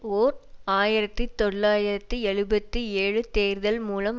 ஓர் ஆயிரத்தி தொள்ளாயிரத்தி எழுபத்தி ஏழு தேர்தல் மூலம்